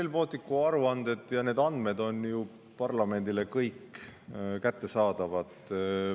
Kõik Rail Balticu aruanded ja andmed on ju parlamendile kättesaadavad.